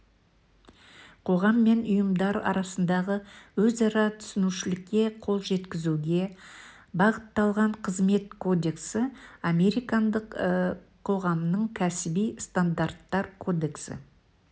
қоғам мен ұйымдар арасындағы өзара түсінушілікке қол жеткізуге бағытталған қызмет кодексі американдық қоғамының кәсіби стандарттар кодексі